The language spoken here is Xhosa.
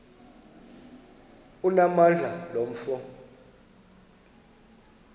onamandla lo mfo